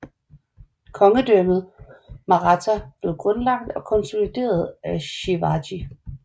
Kongedømmet Maratha blev grundlagt og konsolideret af Shivaji